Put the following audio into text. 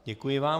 Děkuji vám.